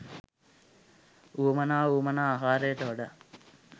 වුවමනා වුවමනා ආකාරයට වඩා